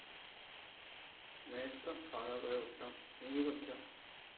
এইতো খাওয়া দাওয়া করে উঠলাম তুমি কি করছো